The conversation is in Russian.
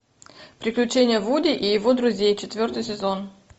приключения вуди и его друзей четвертый сезон